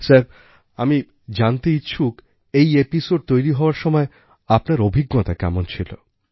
sir আমি জানতে ইচ্ছুক এই episodeতৈরি হওয়ার সময় আপনার অভিজ্ঞতা কেমন ছিল